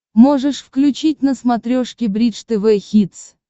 можешь включить на смотрешке бридж тв хитс